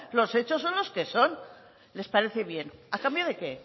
los hechos son los que son les parece bien a cambio de qué